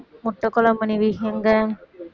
முட்டைக்குழம்பு நிவி இங்க